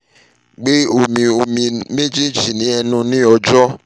gbe omi omi mejeji ni ọjọ